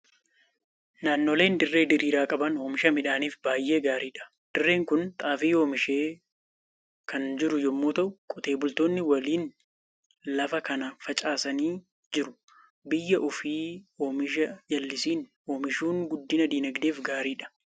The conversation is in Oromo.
Naannoleen dirree diriiraa qaban oomisha midhaaniif baay'ee gaariidha. Dirreen kun xaafii oomishee kan jiru yommuu ta'u, qotee bultoonni waliin lafa kana facaasanii jiru. Biyya ofii oomisha jallisiin oomishuun guddina dinagdeef gaariidha.